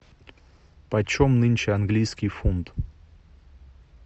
почем нынче английский фунт